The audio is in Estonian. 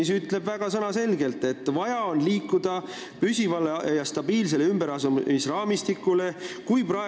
Seal öeldakse sõnaselgelt, et vaja on liikuda püsiva ja stabiilse ümberasustamisraamistiku suunas.